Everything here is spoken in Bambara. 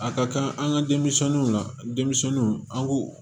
A ka kan an ka denmisɛnninw la denmisɛnninw an k'u